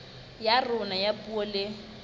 ya rona ya puo le